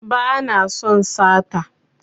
Ba na son sata